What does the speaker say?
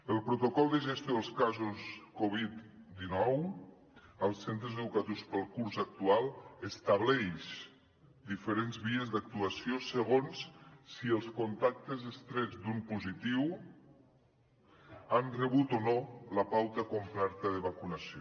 el protocol de gestió dels casos covid dinou als centres educatius per al curs actual estableix diferents vies d’actuació segons si els contactes estrets d’un positiu han rebut o no la pauta completa de vacunació